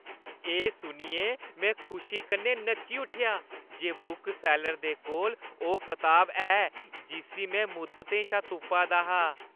एह् सुनियै में खुशी कन्नै नच्ची उट्ठेआ जे बुकसैल्लर दे कोल ओह् कताब है जिस्सी में मुद्दतें शा तुप्पा दा हा!